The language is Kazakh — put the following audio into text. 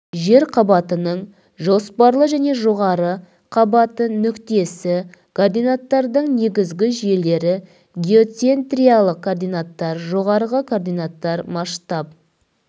жер қабатының жоспарлы және жоғары қабаты нүктесі координаттардың негізгі жүйелері геоцентриялық координаттар жоғары координаттар масштаб